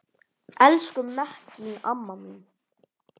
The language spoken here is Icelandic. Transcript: Elsku Mekkín amma mín.